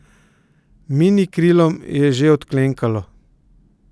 Minikrilom je že odklenkalo.